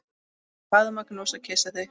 Faðma, knúsa, kyssi þig.